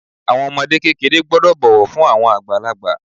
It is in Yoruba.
Àwọn ọmọ kékeré gbọ́dọ̀ bọ̀wọ̀ fún àwọn àgbàlagbà.